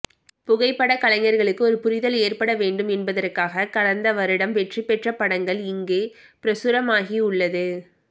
புகைப்பட கஞைர்களுக்கு ஒரு புரிதல் ஏற்படவேண்டும் என்பதற்காக கடந்த வருடம் வெற்றி பெற்ற படங்கள் இங்கே பிரசுரமாகியுள்ளது